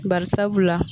Bari sabula